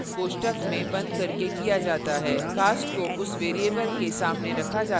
cast को उस variable के सामने रखा जाता है जिसे आप cast करना चाहते हैं